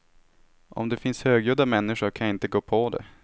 Om det finns högljudda människor kan jag inte gå på det.